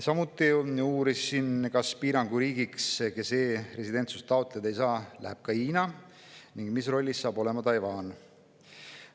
Samuti uurisin, kas e-residentsuse piiranguga riigi alla läheb ka Hiina, ning mis rollis saab olema Taiwan.